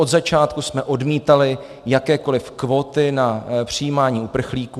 Od začátku jsme odmítali jakékoliv kvóty na přijímání uprchlíků.